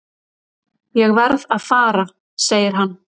Ég verð að fara segir hann.